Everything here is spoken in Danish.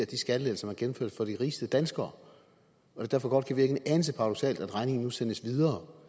de skattelettelser man gennemførte for de rigeste danskere og at det derfor godt kan virke en anelse paradoksalt at regningen nu sendes videre